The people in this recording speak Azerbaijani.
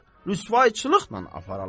Rüsvayçılıqla aparalar?